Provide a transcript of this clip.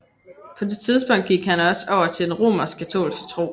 På det tidspunkt gik han også over til den romerskkatolske tro